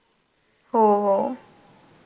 हो हो.